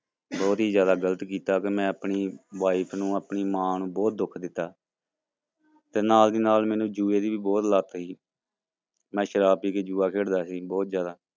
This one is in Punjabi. ਬਹੁਤ ਹੀ ਜ਼ਿਆਦਾ ਗ਼ਲਤ ਕੀਤਾ ਕਿ ਮੈਂ ਆਪਣੀ wife ਨੂੰ, ਆਪਣੀ ਮਾਂ ਨੂੰ ਬਹੁਤ ਦੁੱਖ ਦਿੱਤਾ ਤੇ ਨਾਲ ਦੀ ਨਾਲ ਮੈਨੂੰ ਜੂਏ ਦੀ ਵੀ ਬਹੁਤ ਲੱਤ ਸੀ ਮੈਂ ਸ਼ਰਾਬ ਪੀ ਕੇ ਜੂਆ ਖੇਡਦਾ ਸੀ ਬਹੁਤ ਜ਼ਿਆਦਾ।